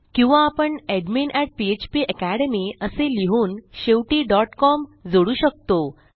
किंवा आपण admin php academy असे लिहून शेवटी com जोडू शकतो